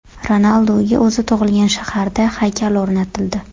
Ronalduga o‘zi tug‘ilgan shaharda haykal o‘rnatildi .